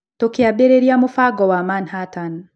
Tũkĩambĩrĩria Mũbango wa Manhattan".